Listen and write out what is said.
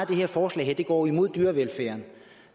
det her forslag går imod dyrevelfærden